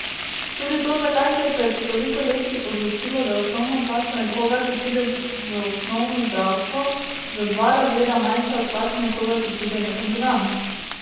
Tudi to, zakaj se je pred toliko leti odločilo, da je osnovna plača nekoga, ki pride v osnovno zdravstvo, za dva razreda manjša od plače nekoga, ki pride nekam drugam.